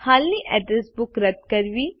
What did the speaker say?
હાલની address book રદ કરવી